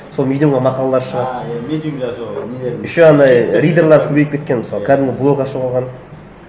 сол медиумға мақалалар шығады еще анандай ридерлар көбейіп кеткен мысалы кәдімгі блог ашып алған